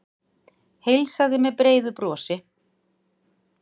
Heilsaði með breiðu brosi.